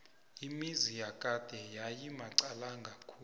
imizi yakade yayimaqalanga khulu